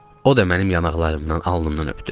O da mənim yanaqlarımdan, alnımdan öptü.